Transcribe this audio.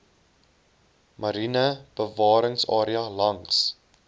mariene bewaringsarea langs